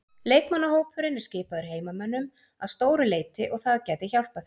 Leikmannahópurinn er skipaður heimamönnum að stóru leyti og það gæti hjálpað þeim.